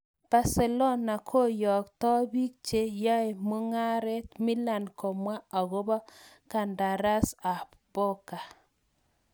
Barcelona koyokto bik che yaemugaret Milan komwa akobo kandaras ab Boga.